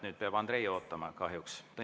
Nüüd peab Andrei kahjuks ootama.